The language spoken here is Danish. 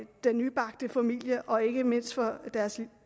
den nybagte familie og ikke mindst for deres